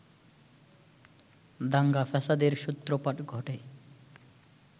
দাঙ্গা-ফ্যাসাদের সূত্রপাত ঘটে